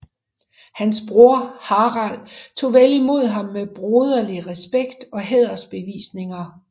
Hans broder Harald tog vel imod ham med broderlig respekt og hædersbevisninger